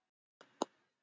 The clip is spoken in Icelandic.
Páll og Ída.